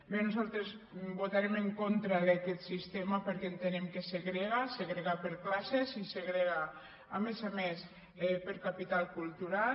bé nosaltres votarem en contra d’aquest sistema perquè entenem que segrega segrega per classes i segrega a més a més per capital cultural